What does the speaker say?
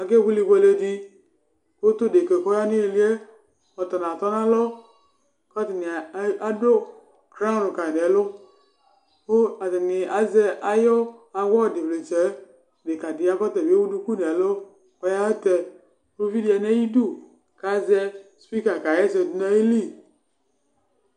Ake bʋele ibʋeledi kʋtu deka kʋ ɔyanʋ iliyɛ atala atɔnʋ alɔ kʋ atani adʋ crawɔn kayi nʋ ɛlʋ kʋ atani azɛ ayʋ awɔdi vlitsɛyɛ dekadi yaba ɔtabi ewʋ duku nʋ ɛlʋ kʋ ayatɛ kʋ ʋvidi yanʋ ayʋ idʋ atɛkʋ azɛ spika kaxa ɛsɛ dunu ayili